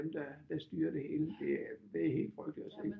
Dem der der styrer det hele det er helt frygteligt at se